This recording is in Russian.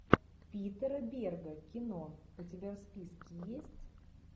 питера берга кино у тебя в списке есть